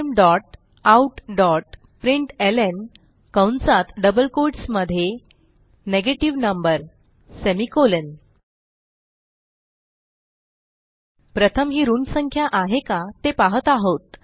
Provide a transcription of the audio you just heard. systemoutप्रिंटलं कंसात double quotes मध्ये negative number प्रथम ही ऋण संख्या आहे का ते पहात आहोत